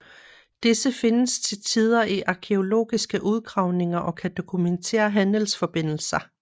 Disse findes til tider i arkæologiske udgravninger og kan dokumentere handelsforbindelser